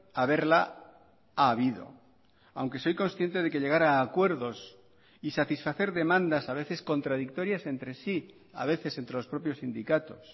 haberla ha habido aunque soy consciente de que llegar a acuerdos y satisfacer demandas a veces contradictorias entre sí a veces entre los propios sindicatos